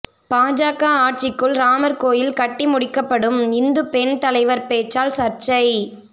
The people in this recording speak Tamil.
பாஜக ஆட்சிக்குள் ராமர் கோயில் கட்டி முடிக்கப்படும் இந்து பெண் தலைவர் பேச்சால் சர்ச்சை